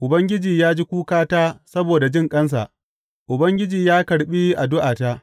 Ubangiji ya ji kukata saboda jinƙansa; Ubangiji ya karɓi addu’ata.